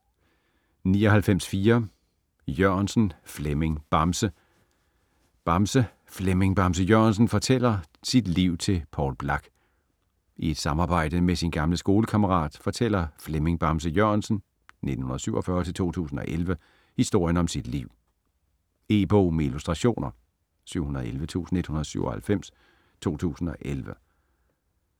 99.4 Jørgensen, Flemming "Bamse" Bamse: Flemming Bamse Jørgensen fortæller sit liv til Poul Blak I et samarbejde med sin gamle skolekammerat fortæller Flemming Bamse Jørgensen (1947-2011) historien om sit liv. E-bog med illustrationer 711197 2011.